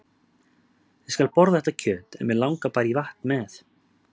Ég skal borða þetta kjöt en mig langar bara í vatn með.